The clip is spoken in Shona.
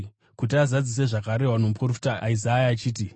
kuti azadzise zvakarehwa nomuprofita Isaya achiti: